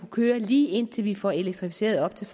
køre lige indtil vi får elektrificeret op til